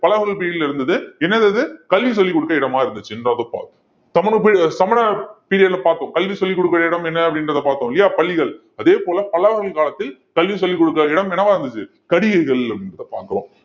பல்லவர்கள் period ல இருந்தது என்னது அது கல்வி சொல்லிக்கொடுக்கிற இடமா இருந்துச்சுன்றதை பார்க்கிறோம் சமண சமண period ல பார்த்தோம் கல்வி சொல்லிக் கொடுக்கிற இடம் என்ன அப்படின்றதை பார்த்தோம் இல்லையா பள்ளிகள் அதே போல பல்லவர்கள் காலத்தில் கல்வி சொல்லிக் கொடுக்கிற இடம் என்னவா இருந்துச்சு கடிகைகள் அப்படின்றதை பார்க்கிறோம்